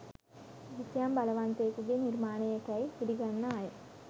කිසියම් බලවන්තයෙකුගේ නිර්මාණයෙකැයි පිළිගන්නා අය